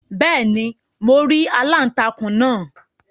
beeni, mo ri aláùntakun naa